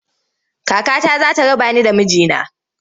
Kakata za ta raba ni da miji na.